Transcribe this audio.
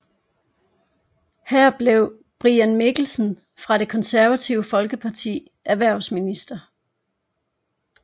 Her blev Brian Mikkelsen fra Det Konservative Folkeparti erhvervsminister